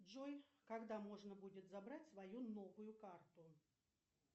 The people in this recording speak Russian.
джой когда можно будет забрать свою новую карту